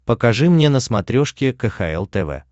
покажи мне на смотрешке кхл тв